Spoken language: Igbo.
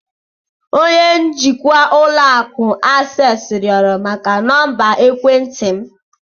Onye njikwa ụlọ akụ Access rịọrọ maka nọmba ekwentị m.